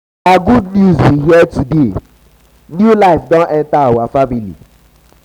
na good news we hear today new life don enter our family.